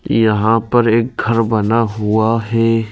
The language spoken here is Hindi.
यहां पे एक घर बना हुआ है।